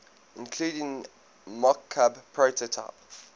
including mockup prototype